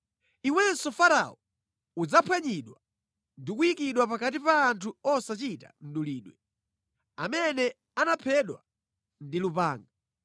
“Iwenso Farao, udzaphwanyidwa ndi kuyikidwa pakati pa anthu osachita mdulidwe, amene anaphedwa ndi lupanga.